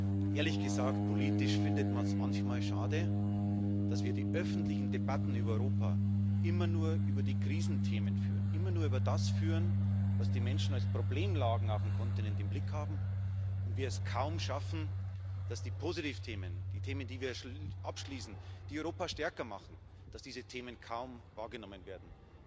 Und, ehrlich gesagt, politisch findet man es manchmal schade, dass wir die öffentlichen Debatten über Europa immer nur über die Krisenthemen führen, immer nur über das führen, was die Menschen als Problemlagen auf dem Kontinent im Blick haben, und wir es kaum schaffen, dass die Positivthemen, die Themen, die wir abschließen, die Europa stärker machen, wahrgenommen werden.